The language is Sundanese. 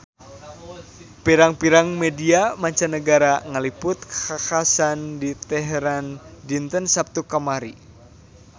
Pirang-pirang media mancanagara ngaliput kakhasan di Teheran dinten Saptu kamari